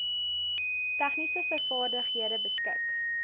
tegniese vaardighede beskik